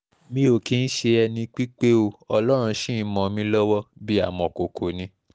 mi ò kì í ṣe ẹni pípé ó ọlọ́run ṣì ń mọ́ mi lọ́wọ́ bíi amọ̀kòkò ni